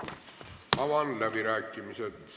Avan läbirääkimised.